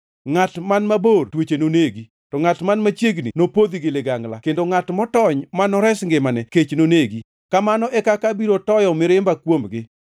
Ngʼat man mabor tuoche nonegi, to ngʼat man machiegni nopodhi gi ligangla, kendo ngʼat motony, ma nores ngimane, kech nonegi. Kamano e kaka abiro toyo mirimba kuomgi.